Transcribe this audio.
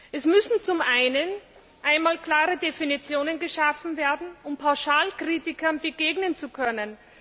Es müssen zum einen einmal klare Definitionen geschaffen werden, um Pauschalkritikern begegnen zu können.